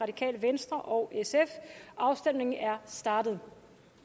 og afstemningen er startet